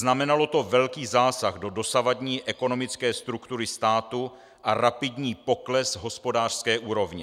Znamenalo to velký zásah do dosavadní ekonomické struktury státu a rapidní pokles hospodářské úrovně.